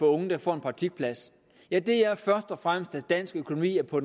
unge får en praktikplads ja det er først og fremmest at dansk økonomi er på